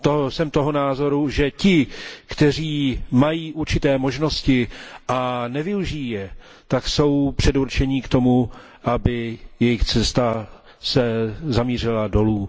Jsem toho názoru, že ti, kteří mají určité možnosti a nevyužijí je, jsou předurčeni k tomu, aby jejich cesta zamířila dolů.